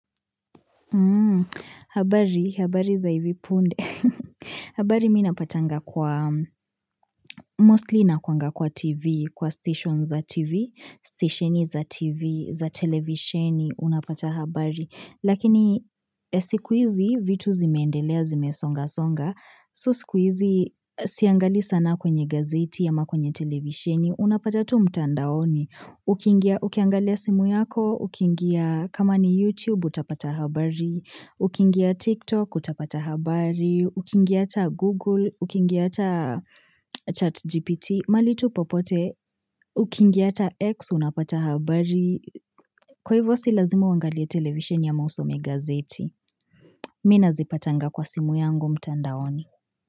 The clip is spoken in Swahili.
Hmm, habari, habari za hivi punde. Habari mi napatanga kwa, mostly inakwanga kwa TV, kwa station za TV, station za TV, za televisioni, unapata habari. Lakini ya siku hizi vitu zimeendelea, zimesongasonga, so sikuizi siangalii sana kwenye gazeti ama kwenye televisheni, unapata tu mtandaoni. Ukiingia ukiangalia simu yako, ukiingia kama ni YouTube utapata habari, ukiingia TikTok utapata habari, ukiingia hata Google, ukiingia hata chat GPT, mahali tu popote, ukiingia hata X unapata habari. Kwa hivyo si lazima uangalie televisheni ama usome gaeti. Mi nazipatanga kwa simu yangu mtandaoni.